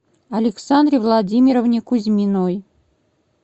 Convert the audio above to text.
александре владимировне кузьминой